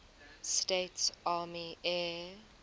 states army air